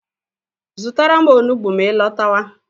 Zụtara m onugbu ma I lọtawa